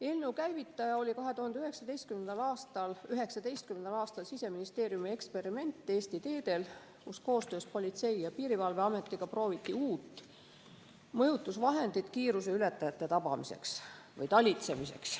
Eelnõu käivitaja oli 2019. aastal Siseministeeriumi eksperiment Eesti teedel, kui koostöös Politsei‑ ja Piirivalveametiga prooviti uut mõjutusvahendit kiiruseületajate talitsemiseks.